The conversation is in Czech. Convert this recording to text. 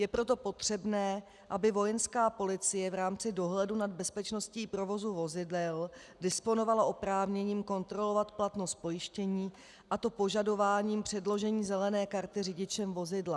Je proto potřebné, aby Vojenská policie v rámci dohledu nad bezpečností provozu vozidel disponovala oprávněním kontrolovat platnost pojištění, a to požadováním předložení zelené karty řidičem vozidla.